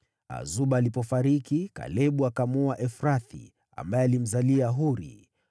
Azuba alipofariki, Kalebu akamwoa Efrathi, ambaye alimzalia Huri.